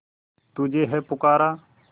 तुझे है पुकारा